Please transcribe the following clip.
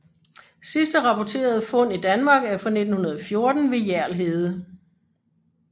Sidste rapporterede fund i Danmark er fra 1914 ved Hjerl Hede